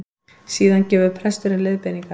Síðan gefur presturinn leiðbeiningar